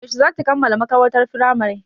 Yaushe za ki kammala makarantar Firamare?